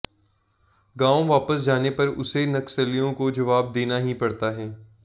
गांव वापस जाने पर उसे नक्सलियों को जवाब देना ही पड़ता है